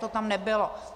To tam nebylo.